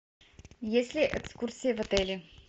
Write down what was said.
есть ли экскурсии в отеле